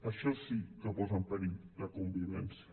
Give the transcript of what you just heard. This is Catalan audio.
això sí que posa en perill la convivència